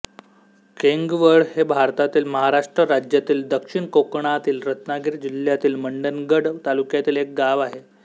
केंगवळ हे भारतातील महाराष्ट्र राज्यातील दक्षिण कोकणातील रत्नागिरी जिल्ह्यातील मंडणगड तालुक्यातील एक गाव आहे